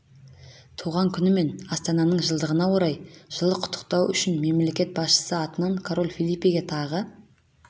туған күні мен астананың жылдығына орай жылы құттықтауы үшін мемлекет басшысы атынан король фелипеге тағы